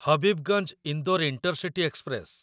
Habibganj Indore intercity express